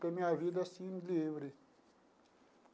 Foi minha vida assim, livre.